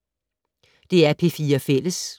DR P4 Fælles